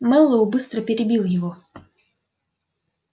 мэллоу быстро перебил его